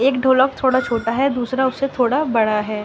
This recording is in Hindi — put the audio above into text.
एक ढोलक थोड़ा छोटा है। दूसरा उस से थोड़ा बड़ा है।